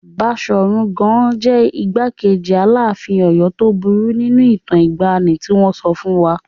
Baṣọ̀run Gáà jẹ́ igbákejì Aláàfin Ọ̀yọ́ tó burú nínú ìtàn ìgbàanì tí wọn sọ fún wa.